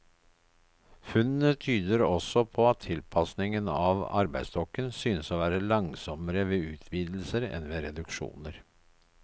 Funnene tyder også på at tilpasningen av arbeidsstokken synes å være langsommere ved utvidelser enn ved reduksjoner.